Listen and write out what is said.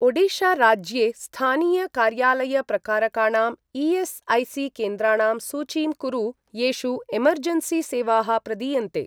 ओडिशा राज्ये स्थानीय कार्यालय प्रकारकाणां ई.एस्.ऐ.सी. केन्द्राणां सूचीं कुरु येषु एमर्जेन्सी सेवाः प्रदीयन्ते।